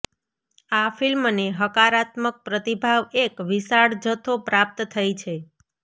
આ ફિલ્મને હકારાત્મક પ્રતિભાવ એક વિશાળ જથ્થો પ્રાપ્ત થઈ છે